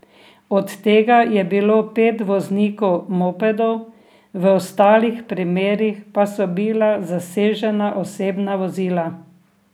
Od tega je bilo pet voznikov mopedov, v ostalih primerih pa so bila zasežena osebna vozila.